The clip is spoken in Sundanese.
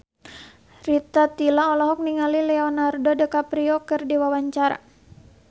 Rita Tila olohok ningali Leonardo DiCaprio keur diwawancara